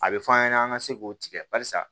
A bɛ f'an ɲɛna an ka se k'o tigɛ barisa